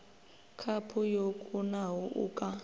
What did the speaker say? khaphu yo kunaho u ka